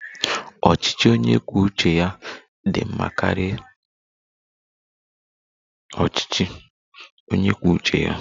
Ọchịchị onye kwuo uche ya dị mma karịa ọchịchị onye kwuo uche ya?